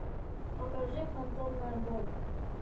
покажи фантомная боль